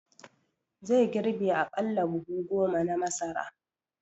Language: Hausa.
Zai girbe aƙalla buhu goma na masara